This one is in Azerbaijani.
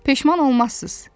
Peşman olmazsız.